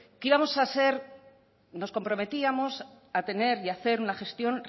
que íbamos a ser nos comprometíamos a tener y a hacer una gestión